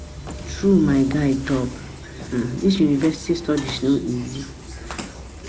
na true my guy talk, dis university studies no easy